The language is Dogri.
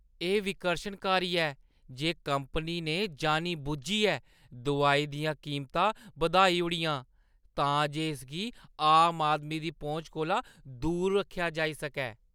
एह् विकर्शनकारी ऐ जे कंपनी ने जानी-बुज्झियै दोआई दियां कीमतां बधाई ओड़ियां तां जे इसगी आम आदमी दी पहुंच कोला दूर रक्खेआ जाई सकै।